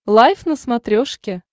лайф на смотрешке